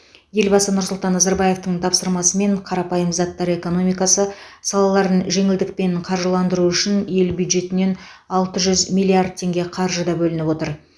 елбасы нұрсұлтан назарбаевтың тапсырмасымен қарапайым заттар экономикасы салаларын жеңілдікпен қаржыландыру үшін ел бюджетінен алты жүз миллиард теңге қаржы да бөлініп отыр